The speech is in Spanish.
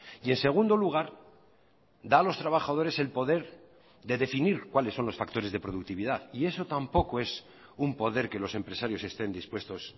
y en segundo lugar da a los trabajadores el poder de definir cuáles son los factores de productividad y eso tampoco es un poder que los empresarios estén dispuestos